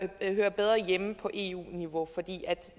der hører bedre hjemme på eu niveau